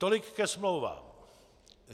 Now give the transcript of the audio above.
Tolik ke smlouvám.